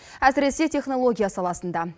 әсіресе технология саласында